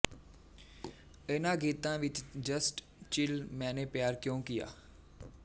ਇਨ੍ਹਾਂ ਗੀਤਾਂ ਵਿੱਚ ਜਸਟ ਚਿਲ ਮੈਨੇ ਪਿਆਰ ਕਿਉਂ ਕੀਆ